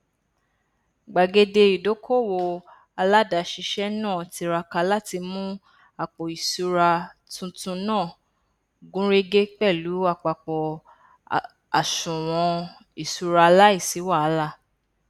gbàgede ìdókòwò aládàáṣiṣẹ náà tiraka láti mú àpòìṣúra tuntun náà gúnrégé pẹlú àpapọ àsùwọn ìṣúra láìsí wàhálà